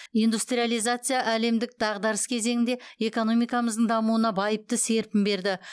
индустриализация әлемдік дағдарыс кезеңінде экономикамыздың дамуына байыпты серпін берді